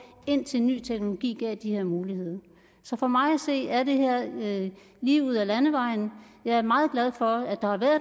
indtil ny teknologi gav de her muligheder så for mig at se er det her lige ud ad landevejen jeg er meget glad for at der har været